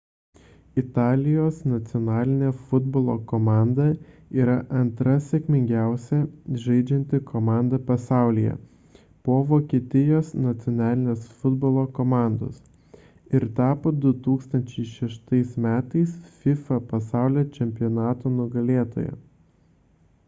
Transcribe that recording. italijos nacionalinė futbolo komanda yra antra sėkmingiausiai žaidžianti komanda pasaulyje po vokietijos nacionalinės futbolo komandos ir tapo 2006 m fifa pasaulio čempionato nugalėtoja